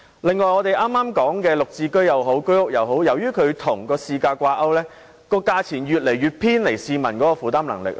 另一方面，我們剛才提到"綠置居"或居屋，由於兩者均與市價掛鈎，其售價越來越偏離市民的負擔能力。